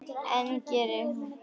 En geri það nú.